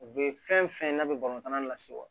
U be fɛn fɛn n'a be balontan nase wa